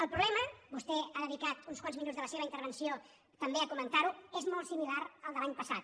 el problema vostè ha de·dicat uns quants minuts de la seva intervenció també a comentar·ho és molt similar al de l’any passat